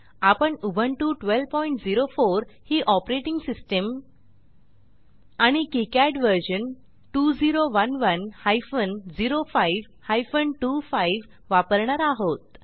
आपण उबुंटू 1204 ही operating system आणि किकाड व्हर्शन 2011 हायफेन 05 हायफेन 25 वापरणार आहोत